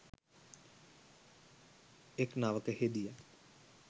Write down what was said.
එක් නවක හෙදියක්